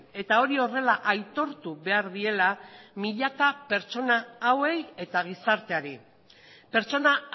eta hori horrela aitortu behar diela milaka pertsona hauei eta gizarteari pertsona